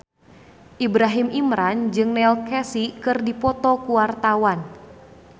Ibrahim Imran jeung Neil Casey keur dipoto ku wartawan